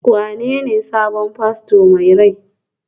wanene sabon fasto mai rai?